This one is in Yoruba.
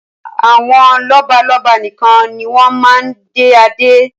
Àwọn lọ́balọ́ba nikan ni wọn máa ń dé Adé